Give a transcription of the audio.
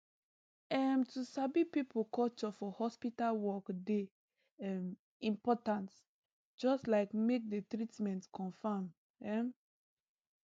em to sabi people culture for hospital work dey um important just like make the the treatment confam um